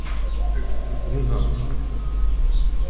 Hvaða áhrif myndi hún hafa?